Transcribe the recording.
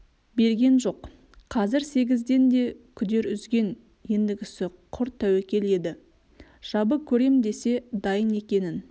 берген жоқ қазір сегізден де күдер үзген ендігісі құр тәуекел еді жабы көрем десе дайын екенін